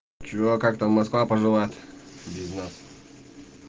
чего как там москва поживает без нас